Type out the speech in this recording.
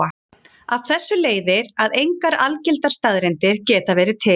Af þessu leiðir að engar algildar staðreyndir geta verið til.